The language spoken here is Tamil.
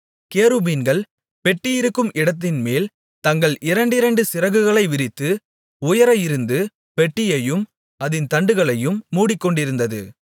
கேருபீன்கள் பெட்டி இருக்கும் இடத்தின்மேல் தங்கள் இரண்டிரண்டு சிறகுகளை விரித்து உயர இருந்து பெட்டியையும் அதின் தண்டுகளையும் மூடிக்கொண்டிருந்தது